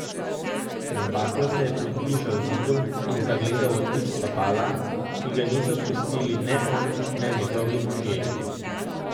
Z baklo se je približal zidu in zagledal odtis stopala, ki ga niso pustili ne on ne njegovi možje.